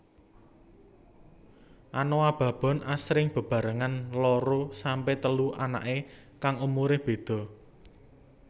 Anoa babon asring bebarengan loro sampe telu anake kang umure beda